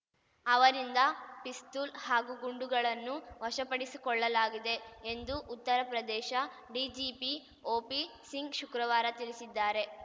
ಅವರಿಂದ ಪಿಸ್ತೂಲ್‌ ಹಾಗೂ ಗುಂಡುಗಳನ್ನು ವಶಪಡಿಸಿಕೊಳ್ಳಲಾಗಿದೆ ಎಂದು ಉತ್ತರ ಪ್ರದೇಶ ಡಿಜಿಪಿ ಒಪಿ ಸಿಂಗ್‌ ಶುಕ್ರವಾರ ತಿಳಿಸಿದ್ದಾರೆ